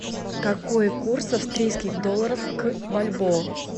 какой курс австрийских долларов к бальбоа